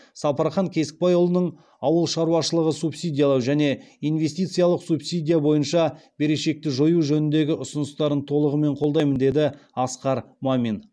сапархан кесікбайұлының ауыл шаруашылығын субсидиялау және инвестициялық субсидия бойынша берешекті жою жөніндегі ұсыныстарын толығымен қолдаймын деді асқар мамин